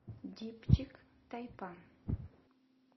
дипчик тайпан